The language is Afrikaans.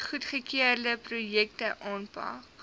goedgekeurde projekte aanpak